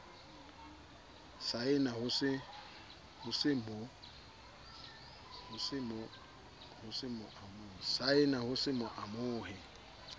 saena ho se mo amohe